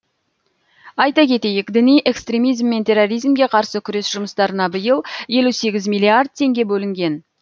айта кетейік діни экстремизм мен терроризмге қарсы күрес жұмыстарына биыл елу сегіз миллиард теңге бөлінген